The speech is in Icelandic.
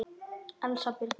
Elsa Birna.